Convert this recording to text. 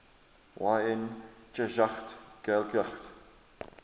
yn cheshaght ghailckagh